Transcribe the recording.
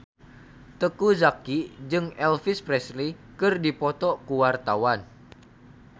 Teuku Zacky jeung Elvis Presley keur dipoto ku wartawan